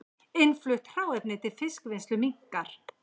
Innflutt hráefni til fiskvinnslu minnkar